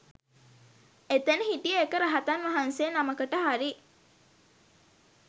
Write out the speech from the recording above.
එතැන හිටිය එක රහතන් වහන්සේ නමකට හරි